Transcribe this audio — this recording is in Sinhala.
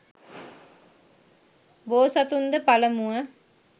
බෝසතුන්ද පළමුව